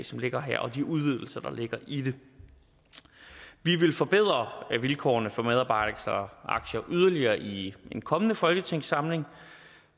som ligger her og de udvidelser der ligger i det vi vil forbedre vilkårene for medarbejderaktier yderligere i den kommende folketingssamling